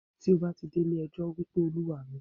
Tí o bá ti dé ilé ẹjọ́, wípé Olúwa mi.